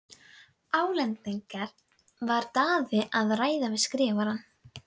Álengdar var Daði að ræða við Skrifarann.